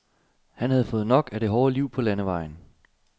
Han havde fået nok af det hårde liv på landevejen.